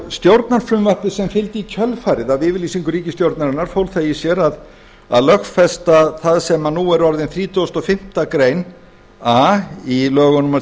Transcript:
stjórnarfrumvarpið sem fylgdi í kjölfarið af yfirlýsingu ríkisstjórnarinnar fól það í sér að lögfesta það sem nú er orðin þrítugasta og fimmtu grein a í lögum númer